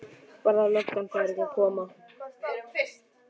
Bara að löggan færi að koma.